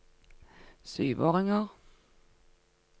syvåringer